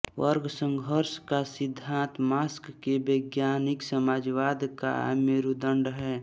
वर्गसंघर्ष का सिद्धांत मार्क्स के वैज्ञानिक समाजवाद का मेरूदंड है